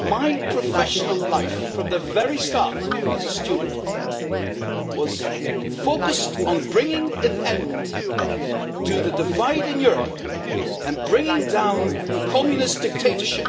My professional life, from the very start as a student, was focused on bringing an end to the divide in Europe and bringing down Communist dictatorship